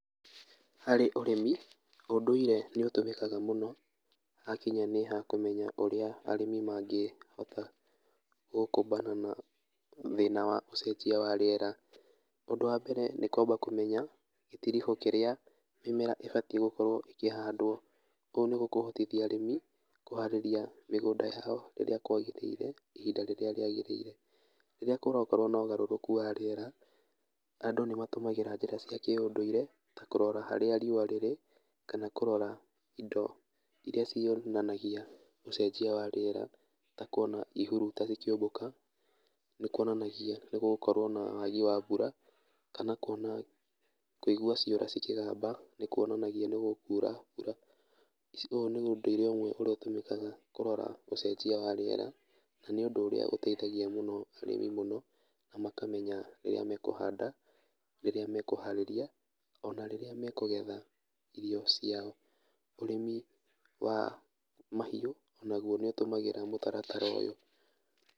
Harĩ ũrĩmi, ũndũire nĩũtũmĩkaga mũno hakinya nĩ ha kũmenya ũngũ ũrĩa arĩmi mangĩhota gũkũmbana na ũcenjia wa rĩera, ũndũ wa mbere, nĩ kwamba kũmenya gĩtiribũ kĩrĩa mĩmera ĩbatiĩ gũkorwo ĩkĩhandwo, kũu nĩgũkũhotithia arĩmi kũharĩria mĩgũnda yao rĩrĩa kwagĩrĩire ihinda rĩrĩa rĩagĩrĩire, rĩrĩa kũrakorwo na ũgarũrũku wa rĩera, andũ nĩmatũmagĩra njĩra cia kĩũndũire, ta kũrora harĩa riũa rĩrĩ, kana kũrora indo irĩa cionanangia ũcenjia wa rĩera, ta kuona ihuruta ikĩũmbũka, nĩkuonanagia nĩgũgũkorwo na wagi wa mbura, kana kuona, kũigua ciũra cikĩgamba, nĩkuonanagia nĩgũkura mbura, ũyũ nĩ ũndũire ũrĩa ũtũmĩkaga kũrora ũcenjia wa rĩera, na nĩũndũ ũrĩa ũteithagia mũno arĩmi mũno, na makamenya rĩrĩa mekũhanda, rĩrĩa mekũharĩria, ona rĩrĩa mekũgetha irio ciao, ũrĩmi wa mahiũ, o naguo nĩũtũmagĩra mũtaratara ũyũ.